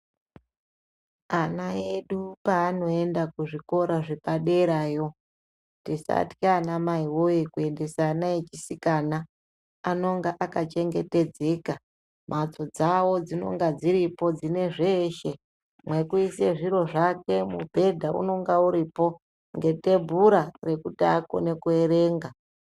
Kana ana edu paanoenda kuzvikora zvepaderayo, tisatya anamai woyee kuendesa ana echisikana anonga akachengetedzeka. Mhatso dzawo dzinenge dziripo dzine zviro zveshe, mwekuisa zviro zvakwe. Mubhenda unenge uripo nekutebhura rekuti akone kuerenga.